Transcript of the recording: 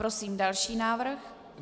Prosím další návrh.